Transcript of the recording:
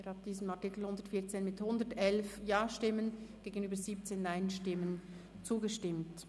Sie haben dem Artikel 114 mit 111 Ja- gegenüber 17 Nein-Stimmen zugestimmt.